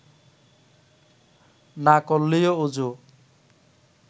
না করলেও অযু